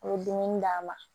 U ye dumuni d'a ma